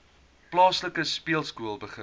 plaaslike speelskool begin